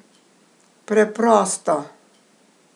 Preprosto!